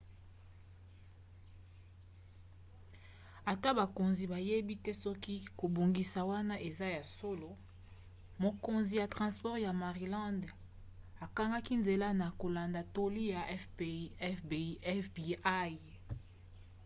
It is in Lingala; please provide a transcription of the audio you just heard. ata bakonzi bayebi te soki kobongisa wana eza ya solo mokonzi ya transport ya maryland akangaki nzela na kolanda toli ya fbi